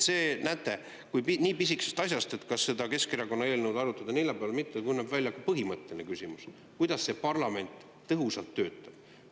Näete, nii pisikesest asjast, et kas seda Keskerakonna eelnõu arutada neljapäeval või mitte, kujuneb välja põhimõtteline küsimus, kuidas parlament tõhusalt töötab.